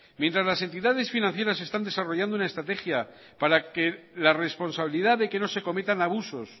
mientras las entidades financieras están desarrollando una estrategia para que la responsabilidad de que no se cometan abusos